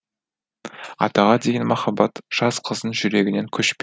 атаға деген махаббат жас қыздың жүрегінен көшпе